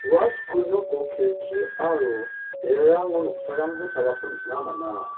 ua skul noko kelki aro berarango noksarangko salako nikna man·a.